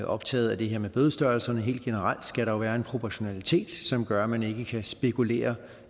optaget af det her med bødestørrelserne helt generelt skal der jo være en proportionalitet som gør at man ikke kan spekulere